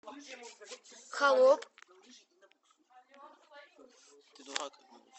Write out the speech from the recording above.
холоп